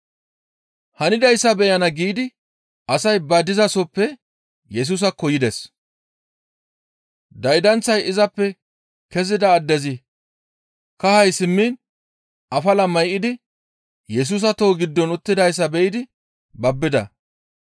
Hanidayssa beyana giidi asay ba dizasoppe Yesusaakko yides; daydanththay izappe kezida addezikka kahay simmiin afala may7idi Yesusa toho giddon uttidayssa be7idi babbida.